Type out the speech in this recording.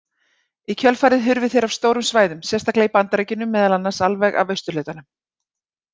Í kjölfarið hurfu þeir af stórum svæðum, sérstaklega í Bandaríkjunum meðal annars alveg af austurhlutanum.